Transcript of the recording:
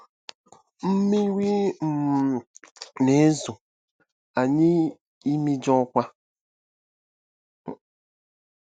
Mmiri um na-ezo, anyị imijuokwa!